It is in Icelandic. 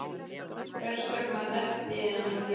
Hvers vegna þekkti ég hann ekki?